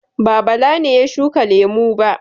Ba, Bala ne ya shuka lemu ba?